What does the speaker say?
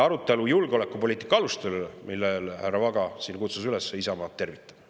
Arutelu julgeolekupoliitika aluste üle, millele härra Vaga kutsus üles, Isamaa tervitab.